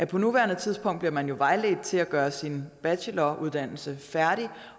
på nuværende tidspunkt bliver man jo vejledt til at gøre sin bacheloruddannelse færdig